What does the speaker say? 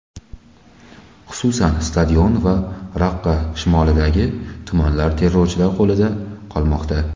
Xususan, stadion va Raqqa shimolidagi tumanlar terrorchilar qo‘lida qolmoqda.